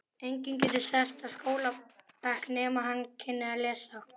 Enginn gæti sest á skólabekk nema hann kynni að lesa.